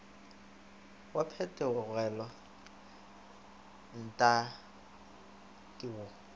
wa phetogelo nltta ke wo